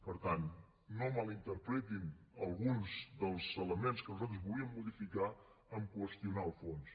per tant no malinterpretin alguns dels elements que nosaltres volíem modificar amb qüestionar el fons